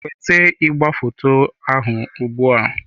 Weta igwefoto ahụ ugbu a!